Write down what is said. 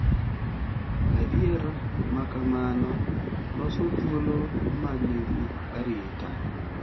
Adier ma kamano loso thuolo ma nigi arita